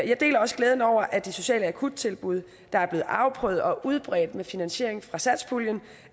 jeg deler også glæden over at de sociale akuttilbud der er blevet afprøvet og udbredt med finansiering fra satspuljen